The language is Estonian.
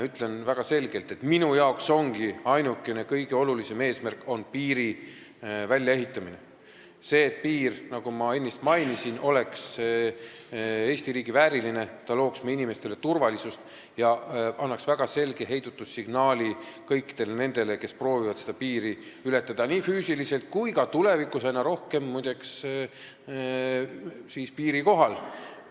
Ütlen väga selgelt, et minu arvates ongi ainukene ja kõige olulisem eesmärk piiri väljaehitamine, see, et piir, nagu ma ennist mainisin, oleks Eesti riigi vääriline, looks meie inimestele turvalisust ja annaks väga selge heidutussignaali kõikidele nendele, kes proovivad piiri ületada füüsiliselt ja ka – seda tulevikus aina rohkem, muide – piiri kohal õhus liikudes.